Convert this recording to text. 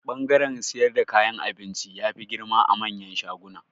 Bangaren siyar dan kayan abinci, ya fi girma a manyan shaguna.